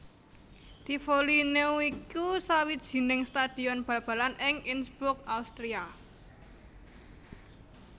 Tivoli Neu iku sawijining stadion bal balan ing Innsbruck Austria